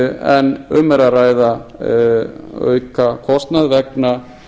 en um er að ræða aukakostnað vegna